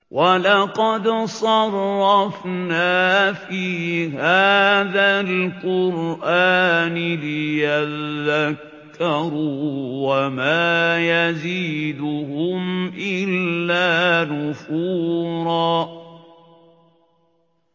وَلَقَدْ صَرَّفْنَا فِي هَٰذَا الْقُرْآنِ لِيَذَّكَّرُوا وَمَا يَزِيدُهُمْ إِلَّا نُفُورًا